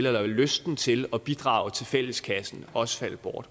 eller lysten til at bidrage til fælleskassen også falde bort